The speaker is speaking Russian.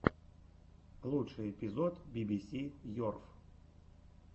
лучший эпизод би би си ерф